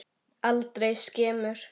Aldrei skemur.